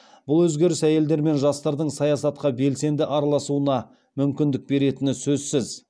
бұл өзгеріс әйелдер мен жастардың саясатқа белсенді араласуына мүмкіндік беретіні сөзсіз